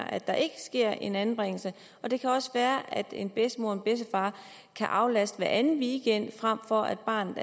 at der ikke sker en anbringelse det kan også være at en bedstemor og bedstefar kan aflaste hver anden weekend frem for at barnet